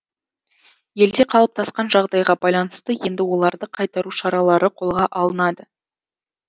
елде қалыптасқан жағдайға байланысты енді оларды қайтару шаралары қолға алынады